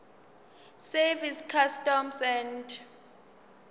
service customs and